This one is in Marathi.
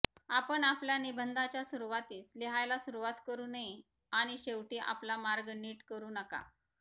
आपण आपल्या निबंधाच्या सुरुवातीस लिहायला सुरुवात करु नये आणि शेवटी आपला मार्ग नीट करु नका